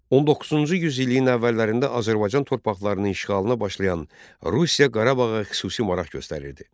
19-cu yüz illiyin əvvəllərində Azərbaycan torpaqlarının işğalına başlayan Rusiya Qarabağa xüsusi maraq göstərirdi.